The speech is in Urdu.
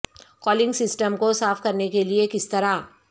کولنگ سسٹم کو صاف کرنے کے لئے کس طرح